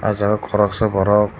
o jaga o koroksa borok.